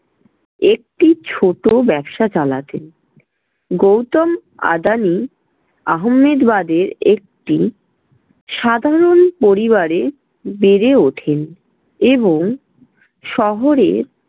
একটি ছোট ব্যবসা চালাতেন। গৌতম আদানি আহম্মেদবাদে একটি সাধারণ পরিবারে বেড়ে ওঠেন এবং শহরে